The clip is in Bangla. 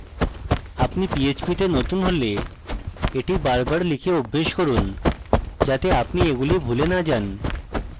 আপনি php তে নতুন হলে এটি বারবার লিখে অভ্যাস করুন যাতে আপনি এগুলি ভুলে না যান